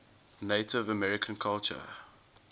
native american culture